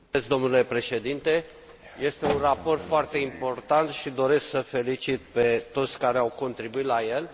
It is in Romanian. Domnule Președinte, este un raport foarte important și doresc să i felicit pe toți cei care au contribuit la el.